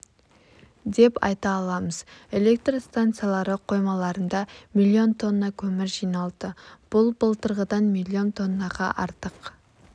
деп айта аламыз электр станциялары қоймаларында миллион тонна көмір жиналды бұл былтырғыдан миллион тоннаға артық